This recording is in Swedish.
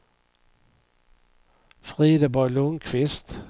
Frideborg Lundquist